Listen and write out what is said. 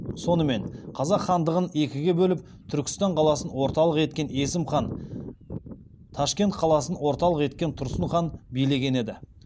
сонымен қазақ хандығын екіге бөліп түркістан қаласын орталық еткен есім хан ташкент қаласын орталық еткен тұрсын хан билеген еді